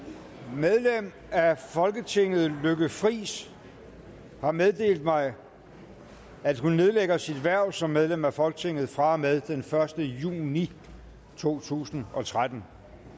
medlem af folketinget lykke friis har meddelt mig at hun nedlægger sit hverv som medlem af folketinget fra og med første juni to tusind og tretten